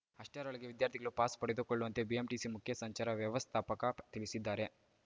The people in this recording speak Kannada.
ಅಷ್ಟರೊಳಗೆ ವಿದ್ಯಾರ್ಥಿಗಳು ಪಾಸ್‌ ಪಡೆದುಕೊಳ್ಳುವಂತೆ ಬಿಎಂಟಿಸಿ ಮುಖ್ಯ ಸಂಚಾರ ವ್ಯವಸ್ಥಾಪಕ ತಿಳಿಸಿದ್ದಾರೆ